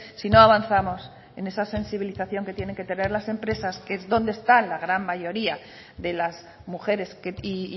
si no avanzamos en esa sensibilización que tienen que tener las empresas que es donde está la gran mayoría de las mujeres y